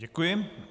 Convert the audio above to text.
Děkuji.